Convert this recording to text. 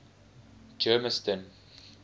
germiston